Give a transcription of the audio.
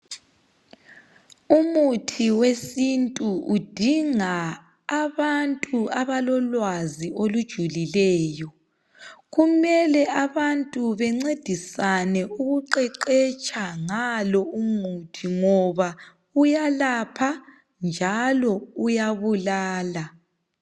Umuthi wesintu udinga abantu abalolwazi olujulileyo. Kumele abantu bencedisane ukuqeqetsha ngalo umuthi ngoba uyalapha njalo uyabulala.